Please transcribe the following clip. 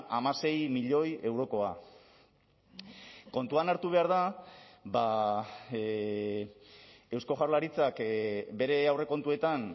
hamasei milioi eurokoa kontuan hartu behar da eusko jaurlaritzak bere aurrekontuetan